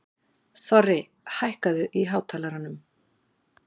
Þorri, hækkaðu í hátalaranum.